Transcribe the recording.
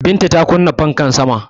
Binta ta kunna fanka sama